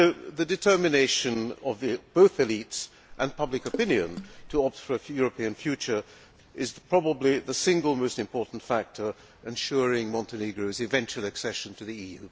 The determination of both élites and public opinion to offer a European future is probably the single most important factor ensuring Montenegro's eventual accession to the EU.